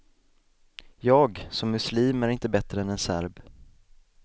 Jag, som muslim, är inte bättre är en serb.